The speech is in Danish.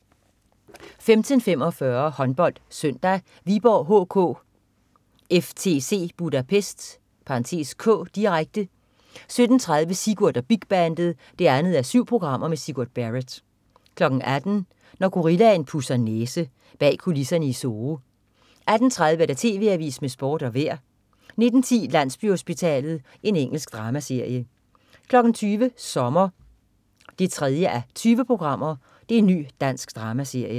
15.45 HåndboldSøndag: Viborg HK-FTC Budapest (k), direkte 17.30 Sigurd og Bigbandet 2:7. Sigurd Barett 18.00 Når gorillaen pudser næse. Bag kulisserne i Zoo 18.30 TV AVISEN med Sport og Vejret 19.10 Landsbyhospitalet. Engelsk dramaserie 20.00 Sommer 3:20. Ny dansk dramaserie